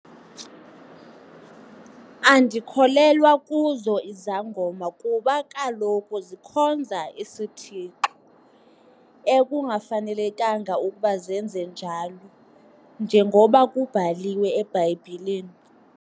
Andikholelwa kuzo izangoma kuba kaloku zikhonza isithixo ekungafanelekanga ukuba zenze njalo njengoba kubhaliwe eBhayibhileni.